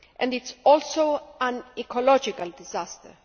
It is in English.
It is also an ecological disaster.